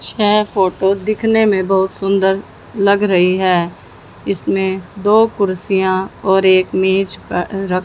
छः फुट दिखने मे बहुत सुंदर लग रही है इसमें दो कुर्सियां और एक मेज प अं रख--